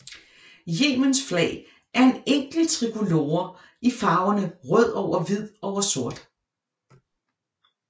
Yemens flag er en enkel trikolore i farverne rød over hvid over sort